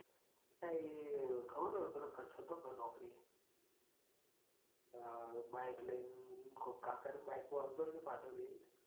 એ ખબર પેલો કાચત હતો નોકરીએ? આ bike લાઈન કોણ આવતો હોય પાછળ બેહીન.